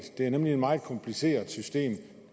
det er nemlig et meget kompliceret system